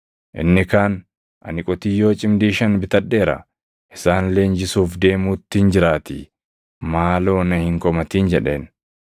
“Inni kaan, ‘Ani qotiyyoo cimdii shan bitadheera; isaan leenjisuuf deemuuttin jiraatii, maaloo na hin komatin’ jedheen.